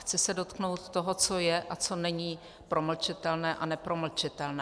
Chci se dotknout toho, co je a co není promlčitelné a nepromlčitelné.